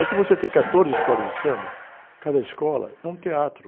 É que você tem quatorze escolas de samba, cada escola é um teatro.